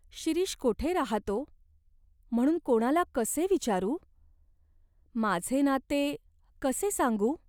शिरीष कोठे राहातो, म्हणून कोणाला कसे विचारू ? माझे नाते कसे सांगू ?